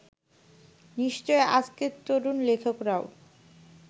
নিশ্চয়ই আজকের তরুণ লেখকেরাও